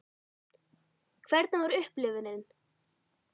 Hvernig var upplifunin?